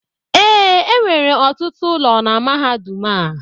ee, enwere ọtụtụ ụlọ na mahadum a